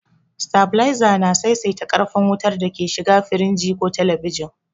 Sitabiliza na saisaita ƙarfin wutar da ke shiga firinji ko telebijin.